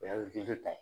O ye ta ye